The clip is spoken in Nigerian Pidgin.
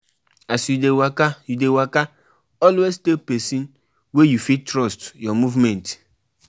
I don arrange wit one dance group, make dem perform for di event.